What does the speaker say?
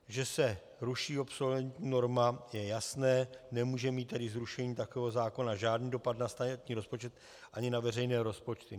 Že se ruší obsolentní norma, je jasné, nemůže mít tedy zrušení takového zákona žádný dopad na státní rozpočet ani na veřejné rozpočty.